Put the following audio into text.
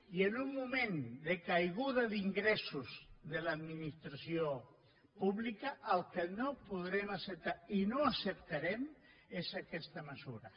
i en un moment de caiguda d’ingressos de l’administració pública el que no podrem acceptar i no acceptarem és aquesta mesura